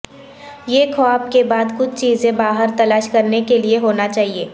یہ خواب کے بعد کچھ چیزیں باہر تلاش کرنے کے لئے ہونا چاہئے